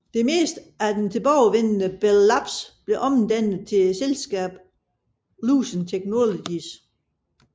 Det meste af det tilbageværende Bell Labs blev omdannet til selskabet Lucent Technologies